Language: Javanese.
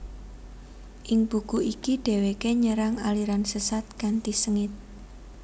Ing buku iki dheweke nyerang aliran sesat kanthi sengit